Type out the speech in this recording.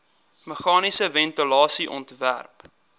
meganiese ventilasie ontwerp